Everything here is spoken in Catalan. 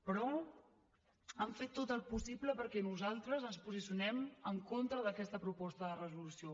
però han fet tot el possible perquè nosaltres ens posicionem en contra d’aquesta proposta de resolució